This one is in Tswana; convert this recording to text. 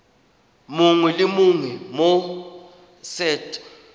mongwe le mongwe mo set